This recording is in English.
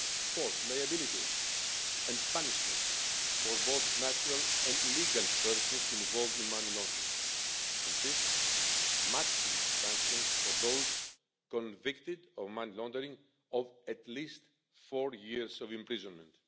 Fourth, liability and punishment for both natural and legal persons involved in money laundering, and fifth, maximum sanctions for those convicted of money laundering of at least four years imprisonment.